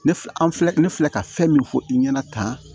Ne filɛ an filɛ ne filɛ ka fɛn min fɔ i ɲɛna tan